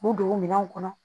K'u don o minɛnw kɔnɔ